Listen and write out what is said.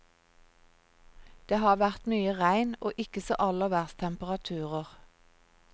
Det har vært mye regn, og ikke så aller verst temperaturer.